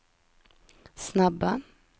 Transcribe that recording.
snabba